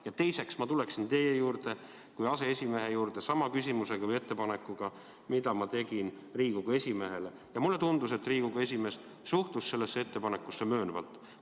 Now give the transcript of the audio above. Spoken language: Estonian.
Ja teiseks, ma pöörduksin teie kui aseesimehe poole sama küsimuse või ettepanekuga, mis ma tegin Riigikogu esimehele, ja mulle tundus, et Riigikogu esimees suhtus sellesse ettepanekusse möönvalt.